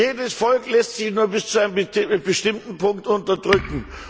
Jedes Volk lässt sich nur bis zu einem bestimmten Punkt unterdrücken.